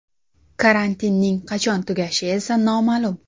Karantinning qachon tugashi esa noma’lum.